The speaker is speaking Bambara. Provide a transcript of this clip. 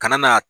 Kana na